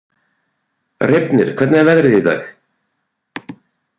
Reifnir, hvernig er veðrið í dag?